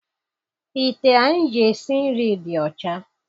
Ite anyị ji esi nri dị ọcha.